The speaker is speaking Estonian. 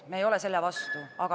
Me ei ole selle vastu ...